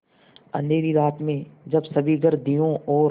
अँधेरी रात में जब सभी घर दियों और